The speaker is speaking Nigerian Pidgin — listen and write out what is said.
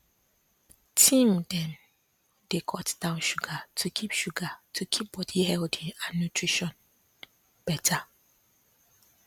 teen dem dey cut down sugar to keep sugar to keep body healthy and nutrition better